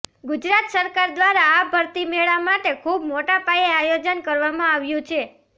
ગુજરાત સરકાર દ્વારા આ ભરતી મેળા માટે ખૂબ મોટા પાયે આયોજન કરવામાં આવ્યું છે